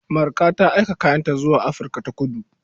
Marka ta aika kayanta zuwa Afirka-ta-kudu.